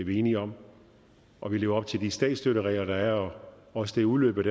vi enige om og lever op til de statsstøtteregler der er også udløbet